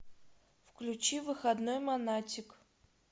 включи выходной монатик